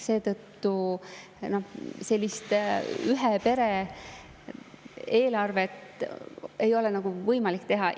Seetõttu sellist ühe pere eelarvet ei ole nagu võimalik teha.